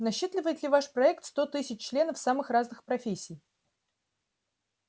насчитывает ли ваш проект сто тысяч членов самых разных профессий